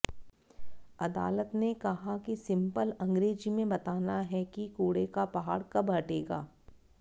अदालत ने कहा कि सिंपल अंग्रेजी में बताना है कि कूड़े का पहाड़ कब हटेगा